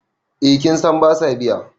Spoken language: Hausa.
eh kin San ba sa biya